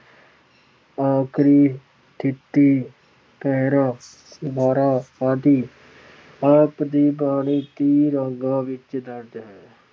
ਅੱਖਰੀ, ਥਿਤੀ, ਪਹਿਰੇ, ਵਾਰਾਂ ਆਦਿ ਆਪ ਦੀ ਬਾਣੀ ਦੇ ਰੰਗਾਂ ਵਿੱਚ ਦਰਜ ਹੈ।